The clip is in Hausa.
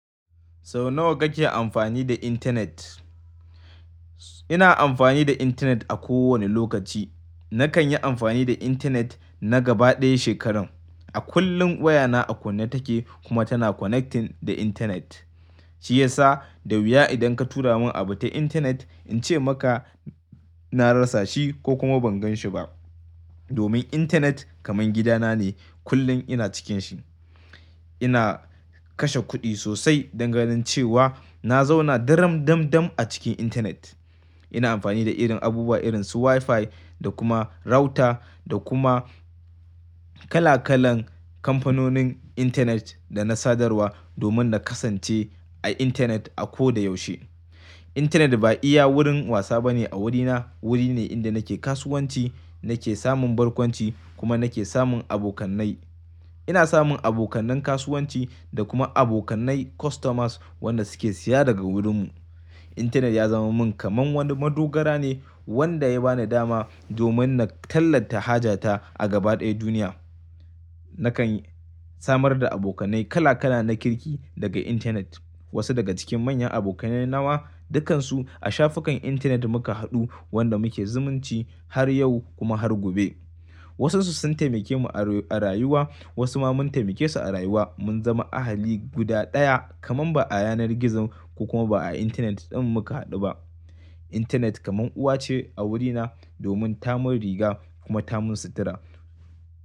Sau nawa kake amfani da intanet? Ina amfani da intanet a kowane lokaci. Nakan yi amfani da intanet na gaba ɗaya shekarun. A kullum wayana a kunne take kuma tana connecting da intanet. Shi yasa, da wuya idan ka tura mun abu ta intanet in ce maka na rasa shi ko kuma ban gan shi ba. Domin intanet kamar gidana ne, kullum ina cikin shi. Ina kashe kuɗi sosai dangane cewa na zauna daram dam dam a cikin intanet. Ina amfani da irin abubuwa irin su WiFi da kuma router da kuma kala kalan kamfanonin intanet da na sadarwa domin na kasance a intanet a ko da yaushe. Intanet ba iya wurin wasa bane a wurina, wuri ne inda nake kasuwanci, nake samun barkwanci kuma nake samun abokanai. Ina samun abokanen kasuwanci da kuma abokanai customers wanda suke siya daga wurinmu. Intanet ya zama min kamar wani madogara ne wanda ya bani dama domin na tallata hajata a gaba ɗaya duniya. Nakan samar da abokanai kala kala na kirki daga intanet. Wasu daga cikin manyan abokanai nawa dukansu a shafukan intanet muka haɗu wanda muke zumunci har yau kuma har gobe. Wasansu sun taimake mu a rayuwa, wasu ma mun taimake su a rayuwa mun zama ahali guda ɗaya kaman ba a yanar gizon ko kuma ba a intanet ɗin muka haɗu ba. Intanet kamar uwa ce a wurina domin ta mun riga kuma ta mun sutura.